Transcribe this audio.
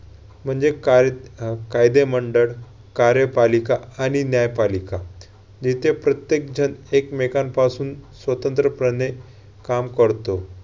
म्हणजे कार~ अह कायदे मंडळ, कार्यपालिका आणि न्यायपालिका. जिथे प्रत्येक जण एकमेकांपासून स्वतंत्र्यपणे काम करतो.